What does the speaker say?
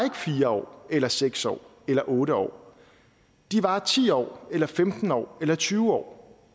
fire år eller seks år eller otte år de varer ti år eller femten år eller tyve år